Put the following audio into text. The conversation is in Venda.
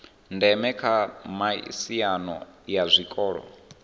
ndeme kha miaisano ya zwiko